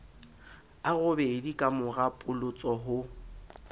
a robedi kamora polotso ho